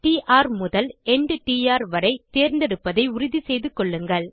ட் ர் முதல் எண்ட் ட் ர் வரை தேர்ந்தெடுப்பதை உறுதி செய்து கொள்ளுங்கள்